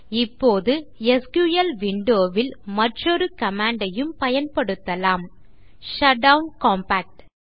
இப்போது SQL window ல் மற்றொரு கமாண்ட் ஐயும் பயன்படுத்தலாம் ஷட்டவுன் காம்பாக்ட்